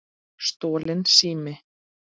Stolinn sími